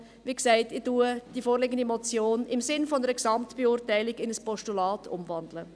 Wie gesagt, ich wandle die vorliegende Motion im Sinne einer Gesamtbeurteilung in ein Postulat um.